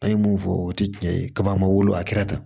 An ye mun fɔ o tɛ tiɲɛ ye kaba wolo a kɛra tan